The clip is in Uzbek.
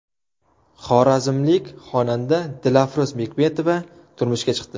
Xorazmlik xonanda Dilafruz Bekmetova turmushga chiqdi.